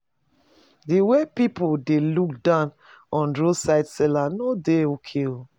The way people dey look down on roadside seller no dey okay